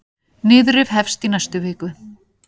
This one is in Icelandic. Niðurrif hefst í næstu viku.